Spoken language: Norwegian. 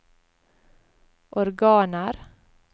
organer